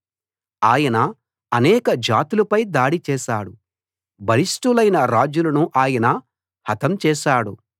ఆయన అనేక జాతులపై దాడి చేసాడు బలిష్టులైన రాజులను ఆయన హతం చేశాడు